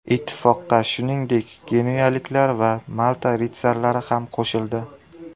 Ittifoqqa, shuningdek, genuyaliklar va Malta ritsarlari ham qo‘shildi.